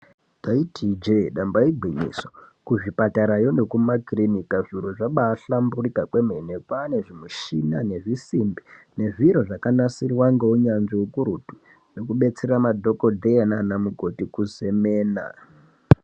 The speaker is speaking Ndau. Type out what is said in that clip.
Taiti ijee damba igwinyiso kuzvipatarayo nekuma kirinika zviro zvabaihlamburuka kwemene kwaane zvimishina nezvisimbi nezviro zvakanasirwa ngeunyanzvi ukurutu zvekudetsera madhokotera nanamukoti kuzemena.